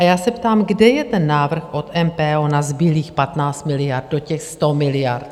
A já se ptám, kde je ten návrh od MPO na zbylých 15 miliard do těch 100 miliard?